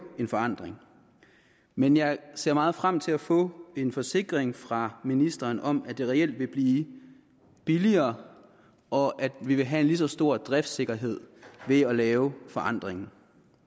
en forandring men jeg ser meget frem til at få en forsikring fra ministeren om at det reelt vil blive billigere og at vi vil have en lige så stor driftssikkerhed ved at lave forandringen